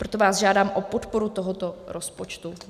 Proto vás žádám o podporu tohoto rozpočtu.